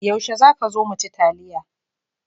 Yaushe za ka zo mu ci taliya?